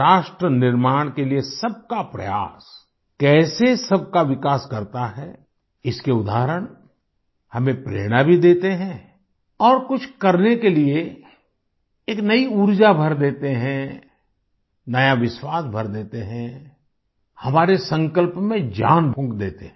राष्ट्र निर्माण के लिए सबका प्रयास कैसे सबका विकास करता है इसके उदाहरण हमें प्रेरणा भी देते हैं और कुछ करने के लिए एक नई ऊर्जा भर देते हैं नया विश्वास भर देते हैं हमारे संकल्प में जान फूँक देते हैं